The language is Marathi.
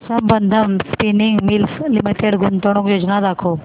संबंधम स्पिनिंग मिल्स लिमिटेड गुंतवणूक योजना दाखव